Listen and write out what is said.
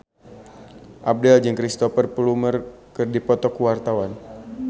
Abdel jeung Cristhoper Plumer keur dipoto ku wartawan